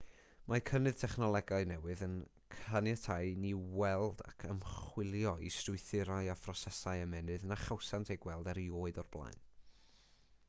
mae cynnydd technolegau newydd yn caniatáu i ni weld ac ymchwilio i strwythurau a phrosesau ymennydd na chawsant eu gweld erioed o'r blaen